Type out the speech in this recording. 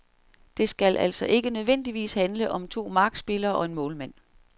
Det skal altså ikke nødvendigvis handle om to markspillere og en målmand.